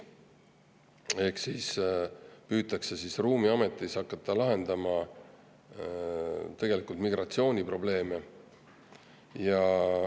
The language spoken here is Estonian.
Ehk siis püütakse ruumiametis hakata lahendama migratsiooniprobleeme.